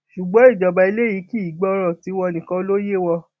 ṣùgbọn ìjọba eléyìí kì í gbọràn tiwọn nìkan ló yé wọn